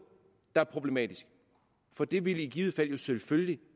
der er problematisk for det ville i givet fald jo selvfølgelig